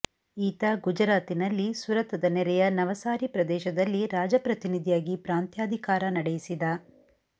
ಈತ ಗುಜರಾತಿನಲ್ಲಿ ಸುರತದ ನೆರೆಯ ನವಸಾರೀ ಪ್ರದೇಶದಲ್ಲಿ ರಾಜಪ್ರತಿನಿಧಿಯಾಗಿ ಪ್ರಾಂತ್ಯಾಧಿಕಾರ ನಡೆಯಿಸಿದ